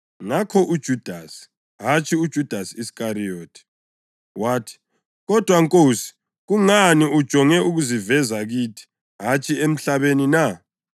Ngakho uJudasi (hatshi uJudasi Iskariyothi) wathi, “Kodwa Nkosi, kungani ujonge ukuziveza kithi, hatshi emhlabeni na?”